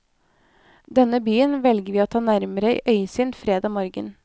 Denne byen velger vi å ta nærmere i øyesyn fredag morgen.